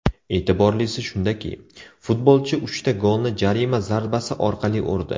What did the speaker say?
E’tiborlisi shundaki, futbolchi uchta golni jarima zarbasi orqali urdi.